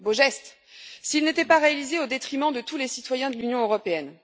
Beau geste, s'il n'était pas réalisé au détriment de tous les citoyens de l'Union européenne!